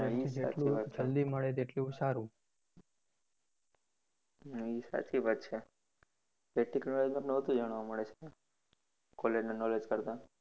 હા એ સાચી વાત છે practical માં વધુ જાણવા મળે છે college ના knowledge કરતા